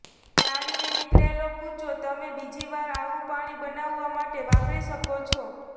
ગાળીને નીકળેલો કૂચો તમે બીજી વાર આવું પાણી બનાવવા માટે વાપરી શકો છો